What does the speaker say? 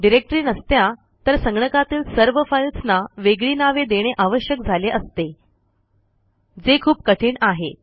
directory नसत्या तर संगणकातील सर्व फाईल्सना वेगळी नावे देणे आवश्यक झाले असते जे खूप कठीण आहे